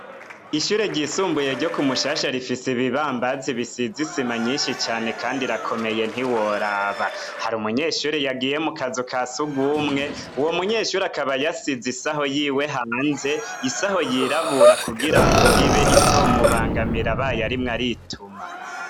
Ishuri ryisumbuye ryo ku Mushasha rifise ibibambazi bisize isima nyinshi cane, kandi irakomeye ntiworaba. Hari umunyeshuri yagiye mu kazu ka surwumwe, Uwo munyeshure akaba yasize isaho yiwe hanze, isaho yirabura kugira ngo ibe itomubangamira abaye arimwo arituma.